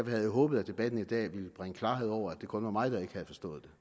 havde jeg håbet at debatten i dag ville bringe klarhed over om det kun var mig der ikke havde forstået